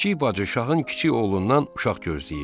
Kiçik bacı şahın kiçik oğlundan uşaq gözləyirdi.